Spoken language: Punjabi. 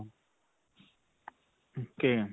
ok.